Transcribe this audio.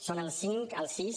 són el cinc el sis